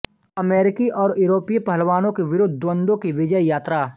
अमेरिकी और यूरोपीय पहलवानों के विरुद्ध द्वंद्वों की विजययात्रा